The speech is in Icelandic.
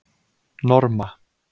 Norma